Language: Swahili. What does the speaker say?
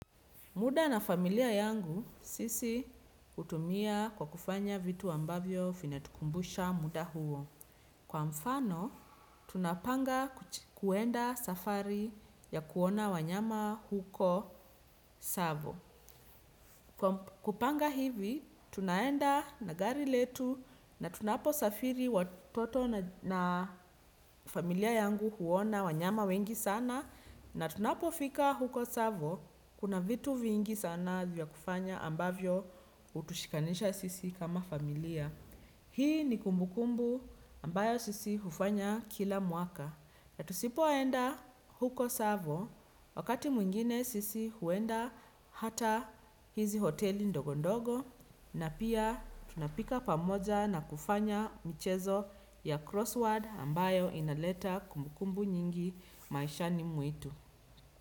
Muda na familia yangu sisi hutumia kwa kufanya vitu ambavyo vinatukumbusha muda huo. Kwa mfano, tunapanga kuenda safari ya kuona wanyama huko tsavo. Kupanga hivi, tunaenda nagari letu na tunapo safiri watoto na familia yangu huona wanyama wengi sana. Na tunapofika huko tsavo, kuna vitu vingi sana vya kufanya ambavyo hutushikanisha sisi kama familia. Hii ni kumbukumbu ambayo sisi hufanya kila mwaka. Ya tusipoenda huko tsavo, wakati mwingine sisi huenda hata hizi hoteli ndogondogo. Na pia tunapika pamoja na kufanya mchezo ya crossword ambayo inaleta kumbukumbu nyingi maisha ni mwetu.